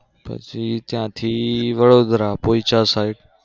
પછી ત્યાં થી વડોદરા પોઇચા side.